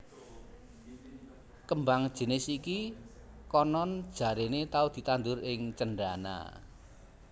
Kembang jinis iki konon jarene tau ditandhur ing Cendana